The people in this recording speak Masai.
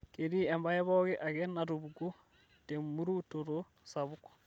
ketii embae pooki ake natupukuo temurutoto sapuk